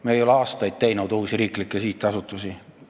Me ei ole aastaid asutanud uusi riiklikke sihtasutusi.